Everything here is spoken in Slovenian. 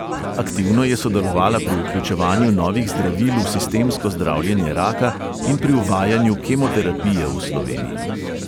Aktivno je sodelovala pri vključevanju novih zdravil v sistemsko zdravljenje raka in pri uvajanju kemoterapije v sloveniji.